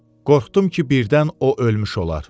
Qorxdum ki birdən o ölmüş olar.